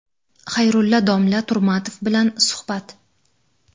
Xayrulla domla Turmatov bilan suhbat.